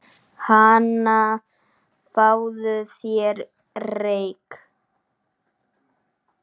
Hana, fáðu þér reyk